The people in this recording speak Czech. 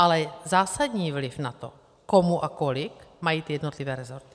Ale zásadní vliv na to, komu a kolik mají ty jednotlivé resorty.